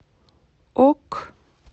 ок